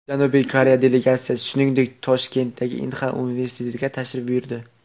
Janubiy Koreya delegatsiyasi, shuningdek, Toshkentdagi Inha universitetiga tashrif buyurdi.